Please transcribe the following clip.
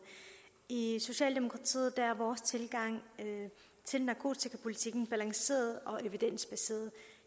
i socialdemokratiet er vores tilgang til narkotikapolitikken balanceret og evidensbaseret